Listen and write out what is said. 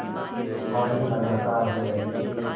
बारिश लगातार हो रही थी